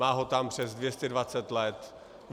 Má ho tam přes 220 let.